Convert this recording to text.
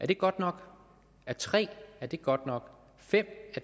det godt nok er tre godt nok er fem